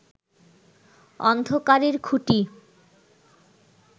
অন্ধকারের খুঁটি